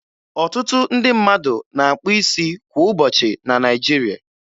Ọtụtụ ndị mmadụ na-akpụ isi kwa ụbọchị na Naịjiri.